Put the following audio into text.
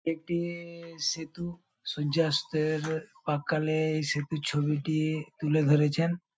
এক-টি-ই সেতু। সূর্যাস্তের-র প্রাক্কালে এই সেতুর ছবিটি-ই তুলে ধরেছেন।